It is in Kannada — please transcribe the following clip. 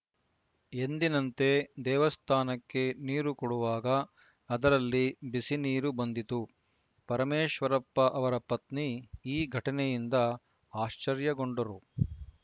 ಎಂದಿನಂತೆ ದೇವಸ್ಥಾನಕ್ಕೆ ನೀರು ಕೊಡುವಾಗ ಅದರಲ್ಲಿ ಬಿಸಿನೀರು ಬಂದಿತು ಪರಮೇಶ್ವರಪ್ಪ ಅವರ ಪತ್ನಿ ಈ ಘಟನೆಯಿಂದ ಆಶ್ಚರ್ಯಗೊಂಡರೂ